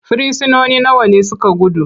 frisinoni nawa ne suka gudu?